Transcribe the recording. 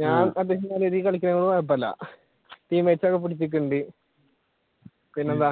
ഞാൻ അത്യാവിശ്യം നല്ല രീതിയിൽ കളിക്കണ കൊണ്ട് കൊഴപ്പമില്ല team mates ഒക്കെ പിന്നെന്താ